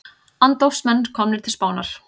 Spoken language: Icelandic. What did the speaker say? Andófsmenn komnir til Spánar